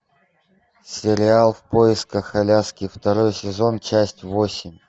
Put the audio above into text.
сериал в поисках аляски второй сезон часть восемь